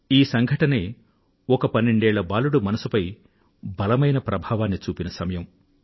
ఈ సంఘటనే ఒక పన్నెండేళ్ల బాలుడి మనసుపై బలమైన ప్రభావాన్ని చూపిన సమయం